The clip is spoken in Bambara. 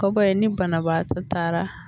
Kɔbɔ ye ni banabaatɔ taara